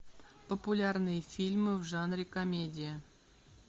популярные фильмы в жанре комедия